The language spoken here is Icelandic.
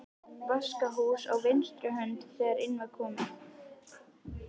Vaskahús á vinstri hönd þegar inn var komið.